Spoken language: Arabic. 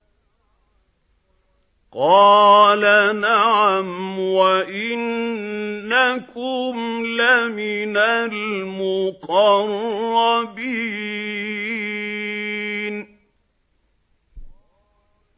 قَالَ نَعَمْ وَإِنَّكُمْ لَمِنَ الْمُقَرَّبِينَ